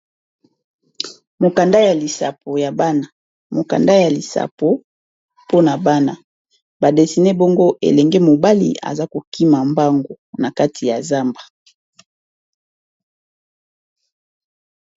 Mokanda ya lisapo ya bana, mokanda ya lisapo mpona bana, badesine bongo elenge mobali aza kokima mbango na kati ya zamba.